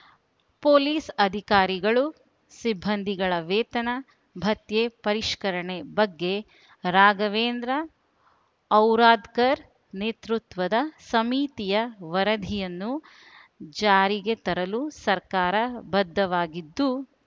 police ಅಧಿಕಾರಿಗಳು ಸಿಬ್ಬಂದಿಗಳ ವೇತನ ಭತ್ಯೆ ಪರಿಷ್ಕರಣೆ ಬಗ್ಗೆ ರಾಘವೇಂದ್ರ ಔರಾದ್ಕರ್‌ ನೇತೃತ್ವದ ಸಮಿತಿಯ ವರದಿಯನ್ನು ಜಾರಿಗೆ ತರಲು ಸರ್ಕಾರ ಬದ್ದವಾಗಿದ್ದು